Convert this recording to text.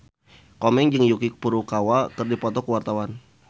Komeng jeung Yuki Furukawa keur dipoto ku wartawan